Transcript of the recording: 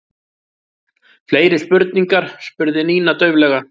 Fleiri spurningar? spurði Nína dauflega.